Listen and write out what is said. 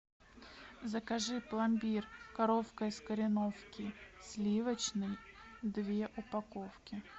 закажи пломбир коровка из кореновки сливочный две упаковки